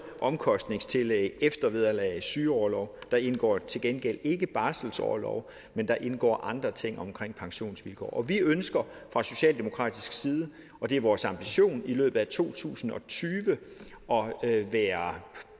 omkostningstillæg eftervederlag og sygeorlov der indgår til gengæld ikke barselsorlov men der indgår andre ting såsom pensionsvilkår vi ønsker fra socialdemokratisk side og det er vores ambition i løbet af to tusind og tyve at være